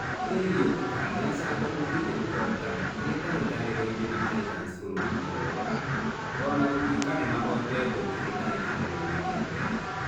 Ariel Okall nĩa canjamukeĩre ũhotani kĩhĩtahĩtanĩroinĩ na Taitans bũrũriinĩ wa Uganda o na gũtũĩka nimahotetwo kĩhĩtahĩtanĩroinĩ kĩa mbere.